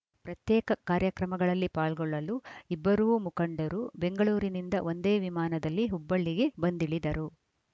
ಪ್ರತ್ಯೇಕ ಕಾರ್ಯಕ್ರಮಗಳಲ್ಲಿ ಪಾಲ್ಗೊಳ್ಳಲು ಇಬ್ಬರೂ ಮುಖಂಡರು ಬೆಂಗಳೂರಿನಿಂದ ಒಂದೇ ವಿಮಾನದಲ್ಲಿ ಹುಬ್ಬಳ್ಳಿಗೆ ಬಂದಿಳಿದರು